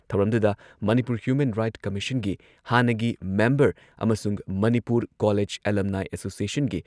ꯊꯧꯔꯝꯗꯨꯗ Manipur human right ꯀꯝꯃꯤꯁꯟꯒꯤ ꯍꯥꯟꯅꯒꯤ ꯃꯦꯝꯕꯔ ꯑꯃꯁꯨꯡ ꯃꯅꯤꯄꯨꯔ ꯀꯣꯂꯦꯖ ꯑꯦꯂꯨꯝꯅꯥꯏ ꯑꯦꯁꯣꯁꯤꯌꯦꯁꯟꯒꯤ